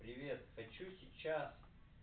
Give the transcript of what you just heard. привет хочу сейчас